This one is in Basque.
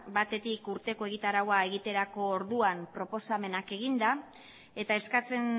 batetik urteko egitaraua egiterako orduan proposamenak eginda eta eskatzen